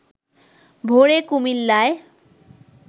ভোরে কুমিল্লায়